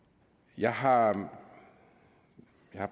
jeg har